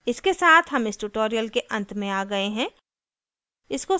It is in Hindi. इसके साथ हम इस tutorial के अंत में आ गए हैं